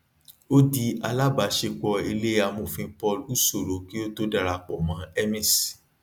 ó di alábàásepọ ilé amòfin paul usoro kí ó tó darapọ mọ emis